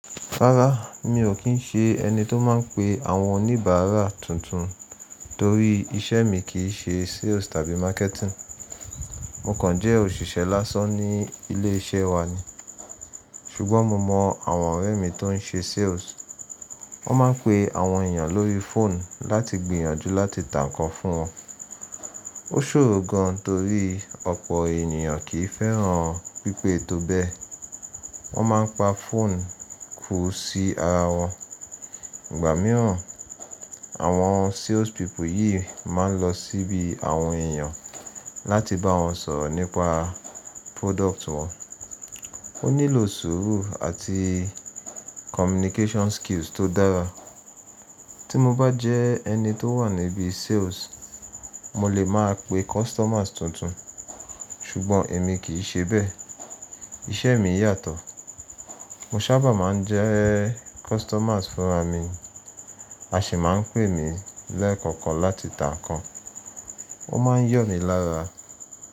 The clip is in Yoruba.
Rárá, mi ò kí ń ṣe ẹni tó máa ń pe àwọn oníbàárà tuntun torí iṣẹ́ mi kì í ṣe sales tàbí marketing. Mo kàn jẹ́ òṣìṣẹ́ lásán ní ilé iṣẹ́ wa ni. Ṣùgbọ́n mo mọ àwọn ọ̀rẹ́ mi tó ń ṣe sales. Wọ́n máa ń pe àwọn èèyàn lórí phone láti gbìyànjú láti tà nkán fún wọn. Ó ṣòro gan torí ọ̀pọ̀ ènìyàn kì í fẹ́ràn pípè tó bẹ. Wọ́n máa ń pa phone ku sí ara wọn. Ìgbà mìíràn, àwọn sales people yìí máa ń lọ síbi àwọn èèyàn láti bá wọn sọ̀rọ̀ nípa product wọn. Ó nílò sùúrù àti communication skills tó dára. Tí mo bá jẹ ẹni tó wà níbi sales, mo lè máa pe customers tuntun. Ṣùgbọ́n èmi kì í ṣe bẹ́ẹ̀. Iṣẹ́ mi yàtọ̀. Mo sábà máa ń jẹ customers fúnra mi, a sì máa ń pè mí lẹ́ẹ̀kọ̀kan láti tà nkán. O máa ń yọ̀ mí lára.